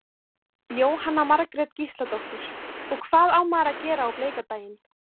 Jóhanna Margrét Gísladóttir: Og hvað á maður að gera á bleika daginn?